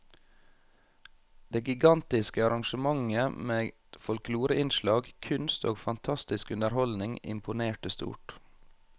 Det gigantiske arrangementet med folkloreinnslag, kunst og fantastisk underholdning imponerte stort.